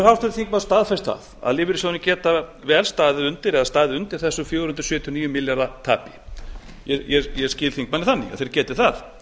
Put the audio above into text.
háttvirtur þingmaður staðfest það að lífeyrissjóðirnir geta vel staðið undir þessu fjögur hundruð sjötíu og níu milljarða tapi ég skil þingmanninn þannig að þeir geti það